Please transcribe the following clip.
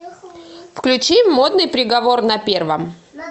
включи модный приговор на первом